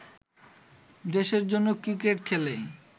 দেশের জন্য ক্রিকেট খেলি